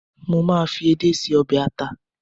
mo ma fi edé se obe ata